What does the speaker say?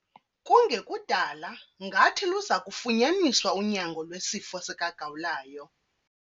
Kungekudala ngathi luza kufunyaniswa unyango lwesifo sikagawulayo.